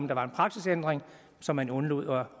der var en praksisændring som man undlod at